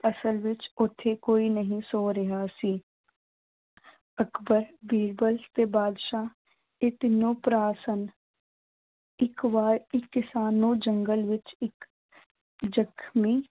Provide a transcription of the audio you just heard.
ਅਸਲ ਵਿੱਚ ਉੱਥੇ ਕੋਈ ਨਹੀਂ ਸੌ ਰਿਹਾ ਸੀ ਅਕਬਰ ਬੀਰਬਲ ਤੇ ਬਾਦਸ਼ਾਹ ਇਹ ਤਿੰਨੋਂ ਭਰਾ ਸਨ ਇੱਕ ਵਾਰ ਇੱਕ ਕਿਸਾਨ ਨੂੰ ਜੰਗਲ ਵਿੱਚ ਇੱਕ ਜਖ਼ਮੀ